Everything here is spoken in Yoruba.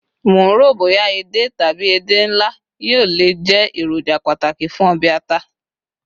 mo nro boya èdè tabi ede nla yíò le je eroja pàtàkì fún obe ata